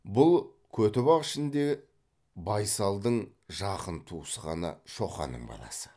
бұл көтібақ ішінде байсалдың жақын туысқаны шоқанның баласы